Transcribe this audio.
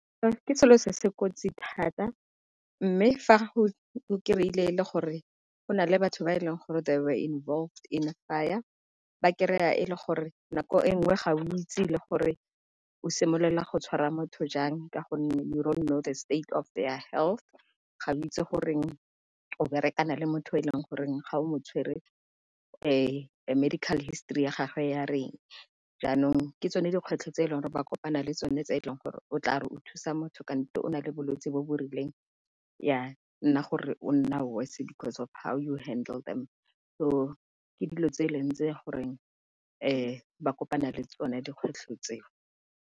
Ke selo se se kotsi thata, mme fa o kry-ile e le gore go na le batho ba e leng gore they were involved in fire ba kry-a e le gore nako e nngwe ga o itse le gore o simolola go tshwara motho jang ka gonne you don't know the state of their health, ga o itse gore o berekana le motho e leng gore ga o mo tshwere, medical history ya gagwe ya reng. Jaanong ke tsone dikgwetlho tse e leng gore ba kopana le tsone tse e leng gore o tla re o thusa motho kante o na le bolwetsi bo bo rileng ya nna gore o nna worse, because of how you handle them. So ke dilo tse e leng tse gore ba kopana le tsone dikgwetlho tse.